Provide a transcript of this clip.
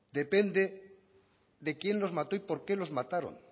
depende de quién los mató y por qué lo mataron